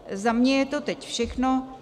Za mě je to teď všechno.